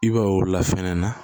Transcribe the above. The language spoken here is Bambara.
I b'a ye o la fɛnɛ na